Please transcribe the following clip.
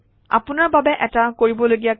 আপোনাৰ বাবে এটা কৰিবলগীয়া কাম